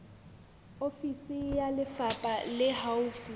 ofisi ya lefapha le haufi